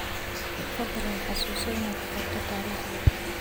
Fadlan xasuuso inaad qorto taariikhda.